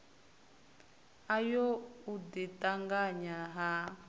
ayo u ḓi ṱanganya ha